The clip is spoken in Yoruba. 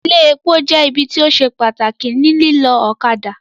Ilé epo jẹ́ ibi tí ó se pàtàkì ní lílọ́ ọ̀kadà